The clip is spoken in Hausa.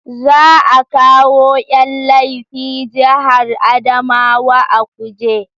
Za a kawo Yan laifi jihar Adamawa a kuje